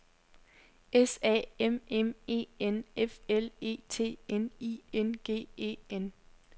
S A M M E N F L E T N I N G E N